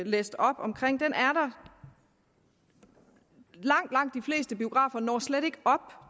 læst op om når langt langt de fleste biografer slet ikke op